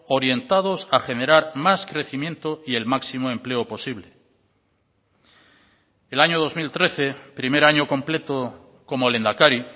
orientados a generar más crecimiento y el máximo empleo posible el año dos mil trece primer año completo como lehendakari